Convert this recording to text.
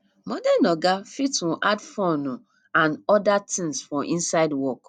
modern oga fit um add fun um and oda things for inside work